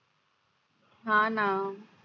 हा ना